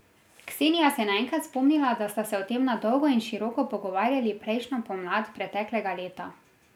Ksenija se je naenkrat spomnila, da sta se o tem na dolgo in široko pogovarjali prejšnjo pomlad preteklega leta.